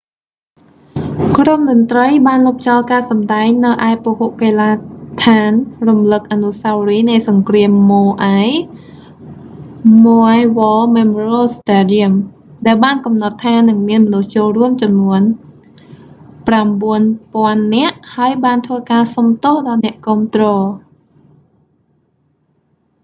ក្រុមតន្រ្តីបានលុបចោលការសម្តែងនៅឯពហុកីឡាដ្ឋានរំលឹកអនុស្សាវរីយ៍នៃសង្គ្រាមម៉ូអាយ maui's war memorial stadium ដែលបានកំណត់ថានឹងមានមនុស្សចូលរួមចំនួន 9000 នាក់ ហើយបានធ្វើការសុំទោសដល់អ្នកគាំទ្រ